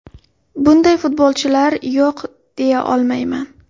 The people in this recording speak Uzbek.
Bunday futbolchilar yo‘q, deya olmayman.